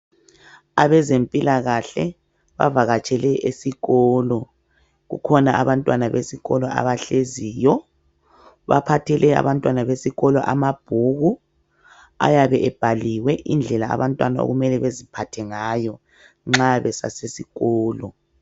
Abezempilakahle bavakatshele esikolo. Kukhona abantwana besikolo abahleziyo. Baphathele abantwana besikolo amabhuku ayabe ebhaliwe indlela abantwana okumele baziphathe ngayo nxa besasesikolo.